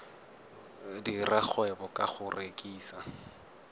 dira kgwebo ka go rekisa